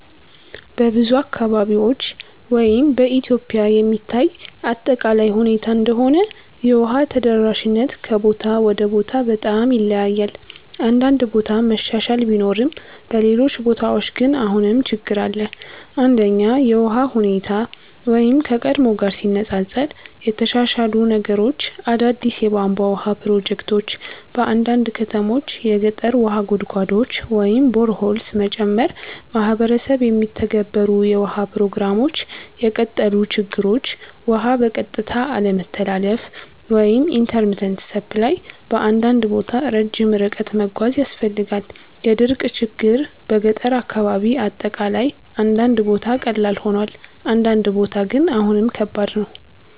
በብዙ አካባቢዎች (በኢትዮጵያ የሚታይ አጠቃላይ ሁኔታ እንደሆነ) የውሃ ተደራሽነት ከቦታ ወደ ቦታ በጣም ይለያያል። አንዳንድ ቦታ መሻሻል ቢኖርም በሌሎች ቦታዎች ግን አሁንም ችግኝ አለ። 1) የውሃ ሁኔታ (ከቀድሞ ጋር ሲነፃፀር) የተሻሻሉ ነገሮች አዳዲስ የቧንቧ ውሃ ፕሮጀክቶች በአንዳንድ ከተሞች የገጠር ውሃ ጉድጓዶች (boreholes) መጨመር ማህበረሰብ የሚተገበሩ የውሃ ፕሮግራሞች የቀጠሉ ችግኞች ውሃ በቀጥታ አለመተላለፍ (intermittent supply) በአንዳንድ ቦታ ረጅም ርቀት መጓዝ ያስፈልጋል የድርቅ ችግኝ በገጠር አካባቢ አጠቃላይ አንዳንድ ቦታ ቀላል ሆኗል፣ አንዳንድ ቦታ ግን አሁንም ከባድ ነው።